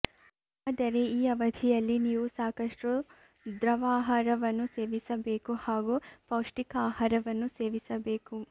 ಆದರೆ ಈ ಅವಧಿಯಲ್ಲಿ ನೀವು ಸಾಕಷ್ಟು ದ್ರವಾಹಾರವನ್ನು ಸೇವಿಸಬೇಕು ಹಾಗೂ ಪೌಷ್ಟಿಕ ಆಹಾರವನ್ನು ಸೇವಿಸಬೇಕು